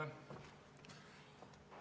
Palun!